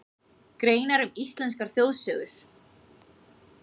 Greinar um íslenskar þjóðsögur.